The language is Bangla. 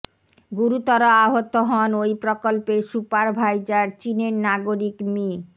গুরুতর আহত হন ওই প্রকল্পের সুপারভাইজার চীনের নাগরিক মি